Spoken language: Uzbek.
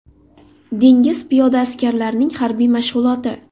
Dengiz piyoda askarlarining harbiy mashg‘uloti.